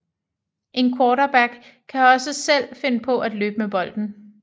En quarterback kan også selv finde på at løbe med bolden